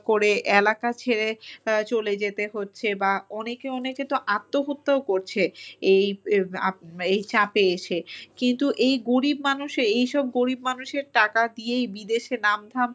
করে এলাকা ছেড়ে আ চলে যেতে হচ্ছে বা অনেকে অনেকে তো আত্মহত্যাও করছে এই এই চাপে এসে। কিন্তু এই গরিব মানুষে এইসব গরিব মানুষের টাকা দিয়েই বিদেশে নাম থাম